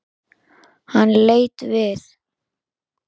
Hann leit við.